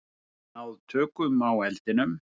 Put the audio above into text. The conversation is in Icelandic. Hafa náð tökum á eldinum